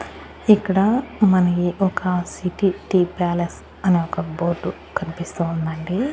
ఇక్కడ మనకి ఒక సిటీ టీ ప్యాలెస్ అని ఒక బోర్డు కన్పిస్తూ ఉందండి.